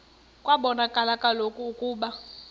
kwabonakala kaloku ukuba